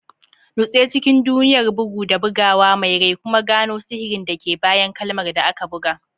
Nutse cikin duniyar bugu da buguwa mai rai, kuma gano sihirin da ke bayan kalmar da aka buga.